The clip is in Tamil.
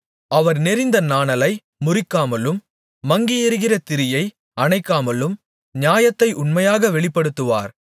அவர் நெரிந்த நாணலை முறிக்காமலும் மங்கியெரிகிற திரியை அணைக்காமலும் நியாயத்தை உண்மையாக வெளிப்படுத்துவார்